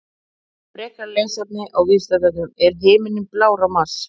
Frekara lesefni á Vísindavefnum: Er himinninn blár á Mars?